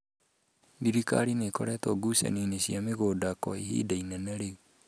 Thirikari nĩikoretwo ngucanio-inĩ cia mĩgũnda kwa ihinda inene rĩu